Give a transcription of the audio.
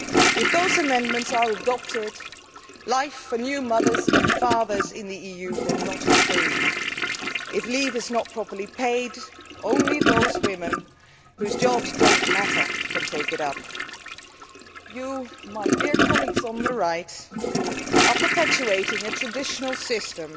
If those amendments are adopted, life for new mothers and fathers in the EU will not improve. If leave is not properly paid, only those women whose jobs do not matter can take it up. You, my dear colleagues on the right, are perpetuating a traditional system